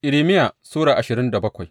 Irmiya Sura ashirin da bakwai